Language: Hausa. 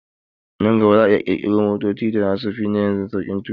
Nan gaba za'a iya ƙirƙiro motocin da zasu fi na yanzu sauƙin tuƙi